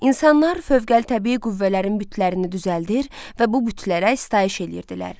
İnsanlar fövqəli təbii qüvvələrin bütlərini düzəldir və bu bütlərə sitayiş eləyirdilər.